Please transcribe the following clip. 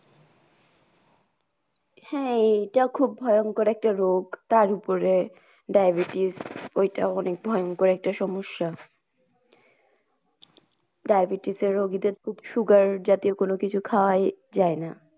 হ্যা এটা খুব ভয়ঙ্কর একটা রোগ তারউপরএ diabetes ওই টা অনেক ভয়ঙ্কর একটা সমস্যা। diabetes এর রোগীদের খুব sugar জাতীয় কোনো কিছু খাওয়াই যায় না।